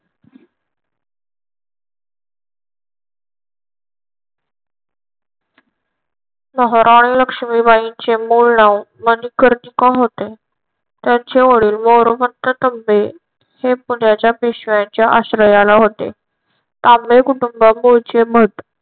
महाराणी लक्ष्मीबाईंचे मूळ नाव मणिकर्णिका होते. त्यांचे वडील मोरोपंत तांबे हे पुण्याच्या पेशव्यांच्या आश्रयाला होते. तांबे कुटुंब मूळचे भट.